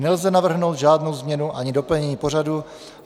Nelze navrhnout žádnou změnu ani doplnění pořadu.